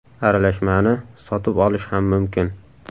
Aralashmani sotib olish ham mumkin.